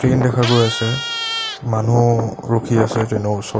Train দেখা গৈ আছে মানুহ ৰখি আছে ট্ৰেইন ৰ ওচৰত।